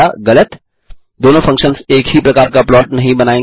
गलत दोनों फंक्शन्स एक ही प्रकार का प्लॉट नहीं बनायेंगे